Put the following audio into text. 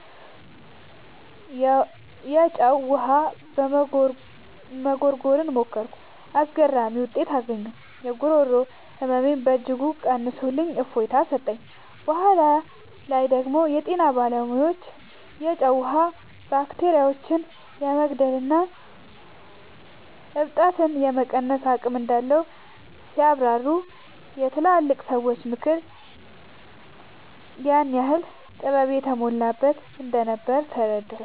የጨው ውሃ መጉርጎርን ሞከርኩ። አስገራሚ ውጤት አገኘሁ! የጉሮሮ ህመሜን በእጅጉ ቀንሶልኝ እፎይታ ሰጠኝ። በኋላ ላይ ደግሞ የጤና ባለሙያዎች የጨው ውሃ ባክቴሪያዎችን የመግደልና እብጠትን የመቀነስ አቅም እንዳለው ሲያብራሩ፣ የትላልቅ ሰዎች ምክር ምን ያህል ጥበብ የተሞላበት እንደነበር ተረዳሁ።